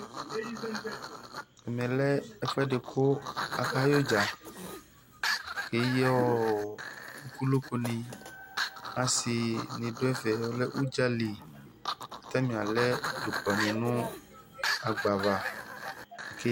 Ɛmɛ lɛ ɛfʋɛdɩ kʋ akayɛ udza Akeyi unoko ni Asi ni du udza yɛ li, kʋatani alɛ dzʋklɔ ni nʋ agba ava